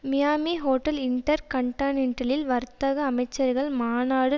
Miami hotel இன்டர் கான்டினென்டலில் வர்த்தக அமைச்சர்கள் மாநாடு